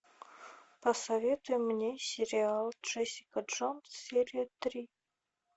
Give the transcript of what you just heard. посоветуй мне сериал джессика джонс серия три